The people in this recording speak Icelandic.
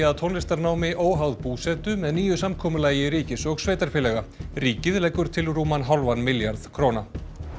að tónlistarnámi óháð búsetu með nýju samkomulagi ríkis og sveitarfélaga ríkið leggur til rúman hálfan milljarð króna